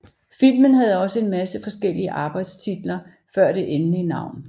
Filmen havde også en masse forskeliige arbejdestitler før det endelige navn